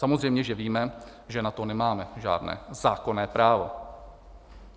Samozřejmě že víme, že na to nemáme žádné zákonné právo.